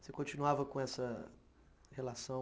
Você continuava com essa relação?